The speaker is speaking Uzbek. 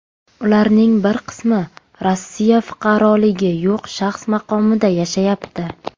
Ularning bir qismi Rossiyada fuqaroligi yo‘q shaxs maqomida yashayapti.